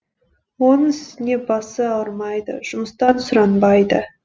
оның үстіне басы ауырмайды жұмыстан сұранбайды